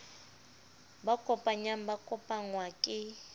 ba kopanyang ba kopangwa ke